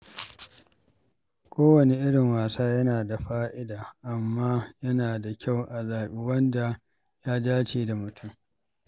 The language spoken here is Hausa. Kowane irin wasa yana da fa’ida, amma yana da kyau a zaɓi wanda ya dace da mutum.